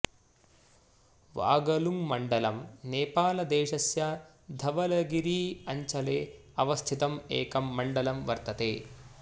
वागलुङमण्डलम् नेपालदेशस्य धवलागिरी अञ्चले अवस्थितं एकं मण्डलं वर्तते